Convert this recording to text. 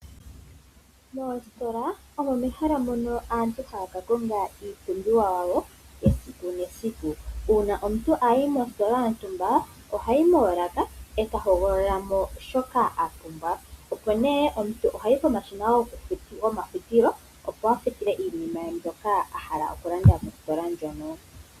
Mostola omo mehala moka aantu haya kakonga iipumbiwa yawo yesiku nesiku .Uuna omuntu ayi mostola yontumba ohayi moolaka tahogolola mo shoka apumbwa opo ne omuntu ohayi pomashina go mafutilo opo afutile iinima ye mbyoka ahala okulanda mostola ndjono.